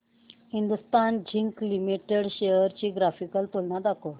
Hindustan Zinc Limited shares ची graphical तुलना दाखव